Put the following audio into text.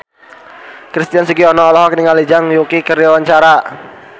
Christian Sugiono olohok ningali Zhang Yuqi keur diwawancara